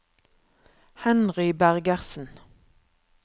Henry Bergersen